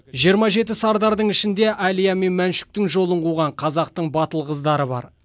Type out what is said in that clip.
жиырма жеті сардардың ішінде әлия мен мәншүктің жолын қуған қазақтың батыл қыздары бар